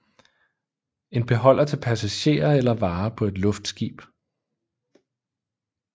En beholder til passagerer eller varer på et luftskib